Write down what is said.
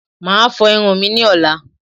Màá a fo irun mi ní ọ̀la